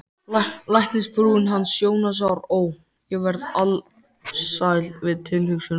Læknisfrúin hans Jónasar, ó, ég verð alsæl við tilhugsunina